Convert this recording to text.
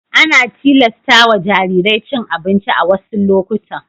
Ana tilasta wa jarirai cin abinci a wassu lokutan.